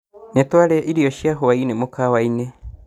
Nĩtwarĩa irio cia hwaĩ-inĩ mũkawa-inĩ